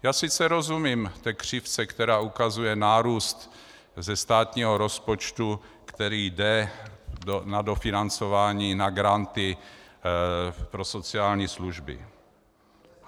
Já sice rozumím té křivce, která ukazuje nárůst ze státního rozpočtu, který jde na dofinancování, na granty pro sociální služby.